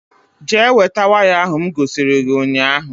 Jee weta waya ahụ m gosiri gị ụnyaahụ